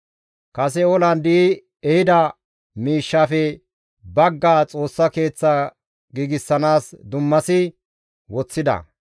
Kase olan di7i ehida miishshafe baggaa Xoossa Keeththa giigsanaas dummasi woththida.